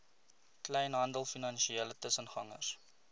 kleinhandel finansiële tussengangers